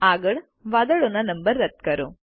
આગળ વાદળો ના નંબરો રદ કરો